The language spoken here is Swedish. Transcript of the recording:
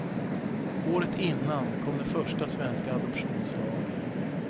Året innan kom den första svenska adoptionslagen.